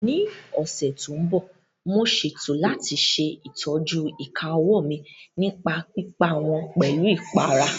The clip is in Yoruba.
Ní ọ̀sẹ̀ tó ń bọ̀, mo ṣètò láti ṣe ìtọ́jú ìka ọwọ́ mi nípa pípa wọ́n pẹ̀lú ìpara